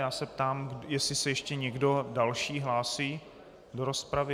Já se ptám, jestli se ještě někdo další hlásí do rozpravy.